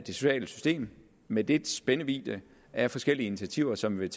sociale system med dets spændvidde af forskellige initiativer som vil